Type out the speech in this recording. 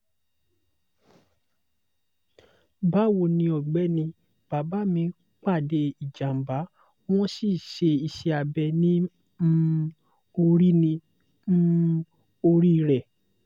bawoni ọ̀gbẹ́ni bàbá mi pàdé ìjàmbá wọ́n sì ṣe iṣẹ́ abẹ̀ ní um orí ní um orí rẹ̀